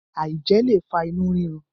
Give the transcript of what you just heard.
aijẹ le fa inu rirun